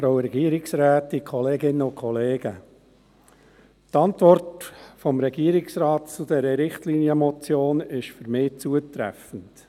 Die Antwort des Regierungsrates zu dieser Richtlinienmotion ist für mich zutreffend.